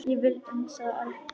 Ég vil inn, sagði Ari.